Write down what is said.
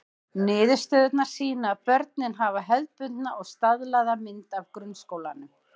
Niðurstöðurnar sýna að börnin hafa hefðbundna og staðlaða mynd af grunnskólanum.